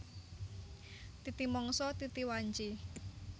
Titi mangsa titi wanci